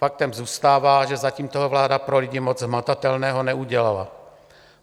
Faktem zůstává, že zatím toho vláda pro lidi moc hmatatelného neudělala.